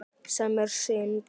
Sem er synd.